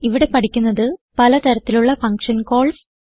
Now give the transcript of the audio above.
ഇവിടെ പഠിക്കുന്നത് പല തരത്തിലുള്ള ഫങ്ഷൻ കോൾസ്